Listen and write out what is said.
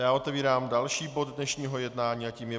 Já otevírám další bod dnešního jednání a tím je